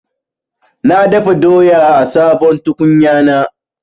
Na dafa doya a sabon tukunyana.